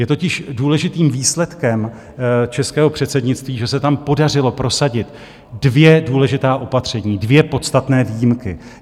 Je totiž důležitým výsledkem českého předsednictví, že se tam podařilo prosadit dvě důležitá opatření, dvě podstatné výjimky.